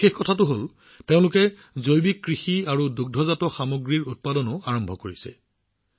বিশেষ কথাটো হল যে তেওঁলোকে জৈৱিক কৃষি আৰু দুগ্ধজাত সামগ্ৰীও আৰম্ভ কৰিছে